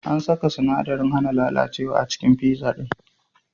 An saka sinadarin hana lalacewa a cikin pizza din.